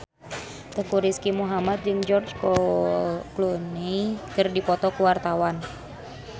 Teuku Rizky Muhammad jeung George Clooney keur dipoto ku wartawan